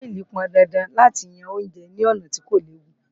Ìwé fọ́ílì pọndandan láti yan oúnjẹ ní ọ̀nà tí kò léwu